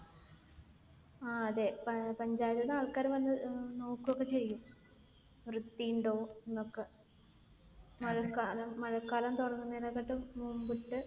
ആഹ് അതെ. പഞ്ചായത്ത് നിന്ന് ആൾക്കാർ വന്ന് നോക്കുകയൊക്കെ ചെയ്യും. വൃത്തിയുണ്ടോ എന്നൊക്കെ. മഴക്കാലം തുടങ്ങുന്നതിനേക്കാട്ടീം മുൻപ്